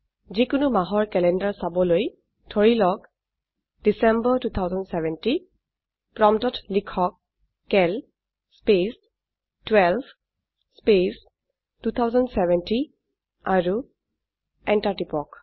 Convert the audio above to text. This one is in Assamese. যিকোনো মাহৰ ক্যালেন্ডাৰ চাবলৈ ধৰিলওক ডিচেম্বৰ 2070 প্ৰম্পটত লিখক চিএএল স্পেচ 12 স্পেচ 2070 আৰু এন্টাৰ টিপক